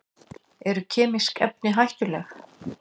Eru kemísk efni hættuleg?